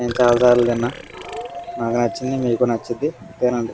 నేను చాల సార్లు తిన్న నాకు నచ్చింది మీకు నచ్చిది తినండి.